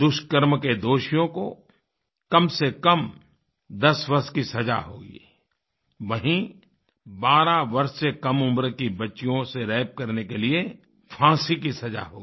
दुष्कर्म के दोषियों को कमसेकम 10 वर्ष की सज़ा होगी वहीँ 12 वर्ष से कम उम्र की बच्चियों से रेप करने पर फाँसी की सज़ा होगी